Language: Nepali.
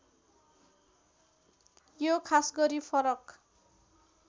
यो खासगरी फरक